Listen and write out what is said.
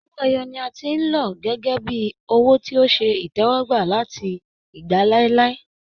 Owó ẹyọ ni a ti ń lọ gẹ́gẹ́ bíi owó tí ó ṣe ìtẹ́wọ́gbà láti ìgbà láíláí